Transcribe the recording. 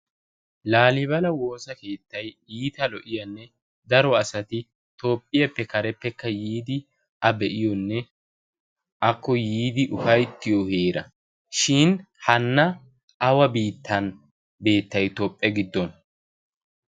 laalibala woosa keettai iita lo"iyaanne daro asati toophphiyaappe kareppekka yiidi a be'iyoonne akko yiidi ufayttiyo heera shin hanna awa biittan beettai toophphe giddon?